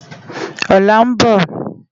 Òlá n bò